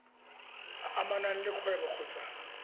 a amanang le kgwebo kgotsa